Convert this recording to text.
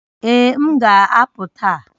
Ee, m ga-apụ taa